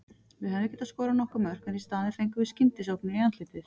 Við hefðum getað skorað nokkur mörk en í staðinn fengum við skyndisóknir í andlitið.